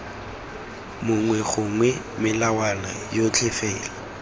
mongwe gongwe melawana yotlhe fela